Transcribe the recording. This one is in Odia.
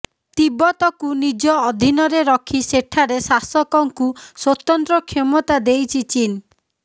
ତିବ୍ବତକୁ ନିଜ ଅଧୀନରେ ରଖି ସେଠାରେ ଶାସକଙ୍କୁ ସ୍ୱତନ୍ତ୍ର କ୍ଷମତା ଦେଇଛି ଚୀନ୍